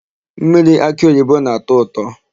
Mmiri akịoyibo na-ata ụtọ.